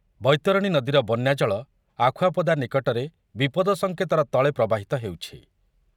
ବୈତରଣୀ ନଦୀର ବନ୍ୟାଜଳ ଆଖୁଆପଦା ନିକଟରେ ବିପଦ ସଂକେତର ତଳେ ପ୍ରବାହିତ ହେଉଛି।